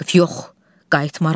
Vaqif yox, qayıtmaram.